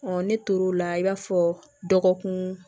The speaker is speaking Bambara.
ne tor'o la i b'a fɔ dɔgɔkun